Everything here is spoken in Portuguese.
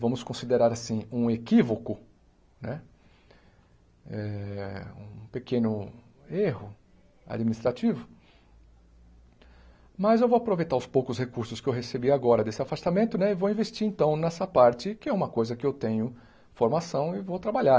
Vamos considerar assim um equívoco né, eh um pequeno erro administrativo, mas eu vou aproveitar os poucos recursos que eu recebi agora desse afastamento e vou investir então nessa parte que é uma coisa que eu tenho formação e vou trabalhar.